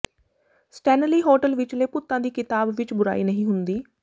Stanley hotel ਵਿਚਲੇ ਭੂਤਾਂ ਦੀ ਕਿਤਾਬ ਵਿਚ ਬੁਰਾਈ ਨਹੀਂ ਹੁੰਦੀ